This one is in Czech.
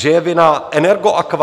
Že je vinna Energoaqua?